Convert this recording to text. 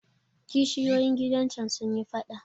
Kishiyoyin gidan can sun yi faɗa.